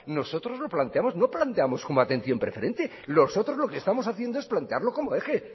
nosotros lo planteamos no planteamos como atención preferente nosotros lo que estamos haciendo es plantearlo como eje